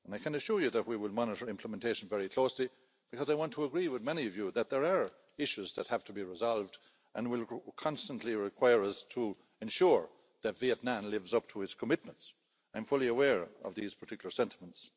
I can assure you that we will monitor implementation very closely, because I agree with many of you that there are issues that have to be resolved and will constantly require us to ensure the Vietnam lives up to its commitments. I'm fully aware of these particular sentiments.